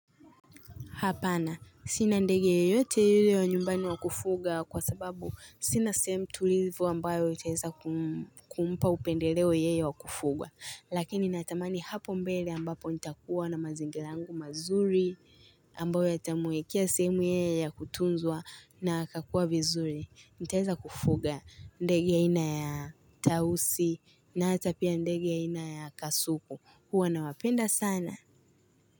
Hapana. Sina ndege yeyote yule wa nyumbani wa kufuga kwa sababu sina sehem tulivu ambayo itaeza kumpa upendeleo yeye wa kufugwa. Lakini natamani hapo mbele ambapo nitakuwa na mazingila yangu mazuri ambayo yatamwekia sehemu yeye ya kutunzwa na akakua vizuri. Nitaeza kufuga ndege aina ya tausi na hata pia ndege aina ya kasuku. Huwa na wapenda sana.